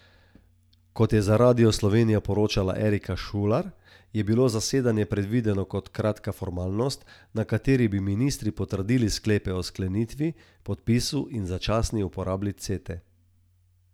Kot je za Radio Slovenija poročala Erika Štular, je bilo zasedanje predvideno kot kratka formalnost, na kateri bi ministri potrdili sklepe o sklenitvi, podpisu in začasni uporabi Cete.